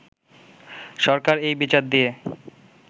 সরকার এই বিচার দিয়ে